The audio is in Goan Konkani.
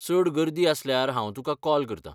चड गर्दी आसल्यार हांव तुका कॉल करता.